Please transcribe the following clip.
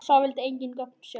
Sá vildi engin gögn sjá.